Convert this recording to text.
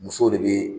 Musow de bɛ